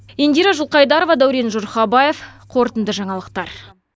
индира жылқайдарова дәурен жұрхабаев қорытынды жаңалықтар